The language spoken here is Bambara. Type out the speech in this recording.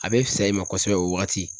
A bɛ fisaya i ma kosɛbɛ o wagati